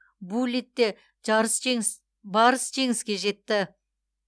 буллитте жарыс жеңіс барыс жеңіске жетті